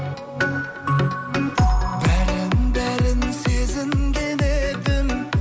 бәрін бәрін сезінген едім